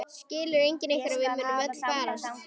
Skilur enginn ykkar að við munum öll farast?